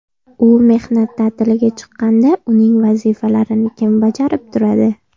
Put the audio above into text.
U mehnat ta’tiliga chiqqanda uning vazifalarini kim bajarib turadi?